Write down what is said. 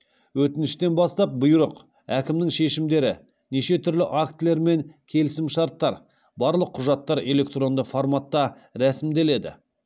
өтініштен бастап бұйрық әкімнің шешімдері неше түрлі актілер мен келісімшарттар барлық құжаттар электронды форматта рәсімделеді